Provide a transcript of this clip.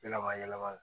Yɛlɛma yɛlɛma la